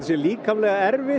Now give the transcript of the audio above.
líkamlega erfið